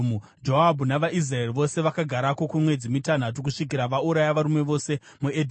Joabhu navaIsraeri vose vakagarako kwemwedzi mitanhatu, kusvikira vauraya varume vose muEdhomu.